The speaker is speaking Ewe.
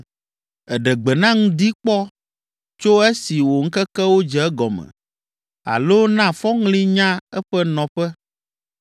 “Èɖe gbe na ŋdi kpɔ tso esi wò ŋkekewo dze egɔme alo na fɔŋli nya eƒe nɔƒe,